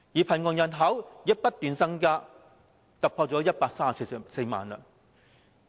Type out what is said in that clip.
貧窮人口亦不斷增加，突破了134萬人。